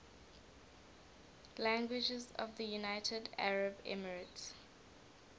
languages of the united arab emirates